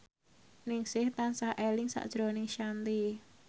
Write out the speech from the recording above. Ningsih tansah eling sakjroning Shanti